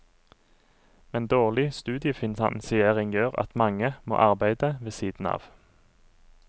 Men dårlig studiefinansiering gjør at mange må arbeide ved siden av.